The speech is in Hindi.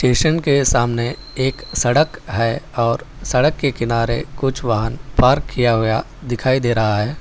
स्टेशन के सामने एक सड़क है और सड़क के किनारे कुछ वाहन पार्क किया गया दिखाई दे रहा है।